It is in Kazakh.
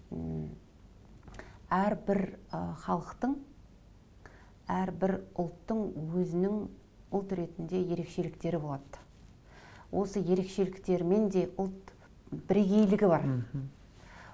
м әрбір ы халықтың әрбір ұлттың өзінің ұлт ретінде ерекшеліктері болады осы ерекшеліктерімен де ұлт бірегейлігі бар мхм